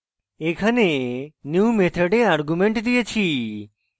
এখানে new method argument দিয়েছি